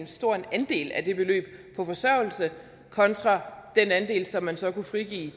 stor andel af det beløb på forsørgelse kontra den andel som man så kunne frigive